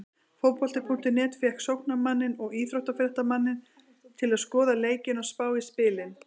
Fótbolti.net fékk sóknarmanninn og íþróttafréttamanninn til að skoða leikina og spá í spilin.